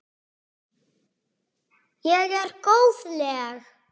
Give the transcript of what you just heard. Ég er góðleg.